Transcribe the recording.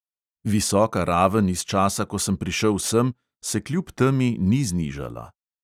Visoka raven iz časa, ko sem prišel sem, se kljub temi ni znižala.